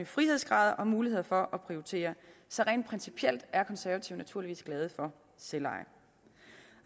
frihedsgrader og muligheder for at prioritere så rent principielt er konservative naturligvis glade for selveje